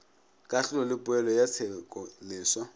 kahlolo le poelo ya tshekoleswa